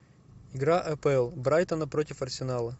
игра апл брайтона против арсенала